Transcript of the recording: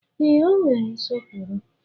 Ee, o nwere nsọpụrụ.